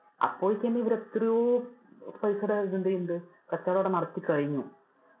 അപ്പൊ തന്നെ ഇവര് എത്രയോ പൈസയുടെ ഇത് എന്ത് ചെയുന്നുണ്ട് കച്ചോടം അവിടെ നടത്തി കഴിഞ്ഞു.